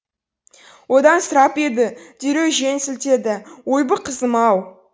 одан сұрап еді дереу жөн сілтеді ойбу қызым ау